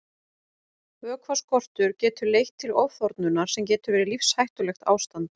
Vökvaskortur getur leitt til ofþornunar sem getur verið lífshættulegt ástand.